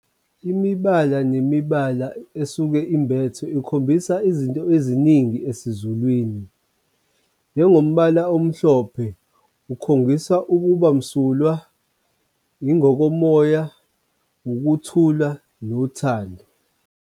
Imibala nemibala esuke imbethe ikhombisa izinto eziningi esizulwini njengombala omhlophe, ukhombisa ukuba msulwa yingokomoya, ukuthula nothando.